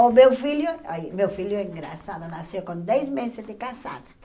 O meu filho, ai meu filho é engraçado, nasceu com dez meses de casada.